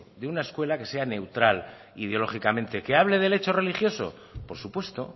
de una escuela que sea neutral ideológicamente que hable del hecho religioso por supuesto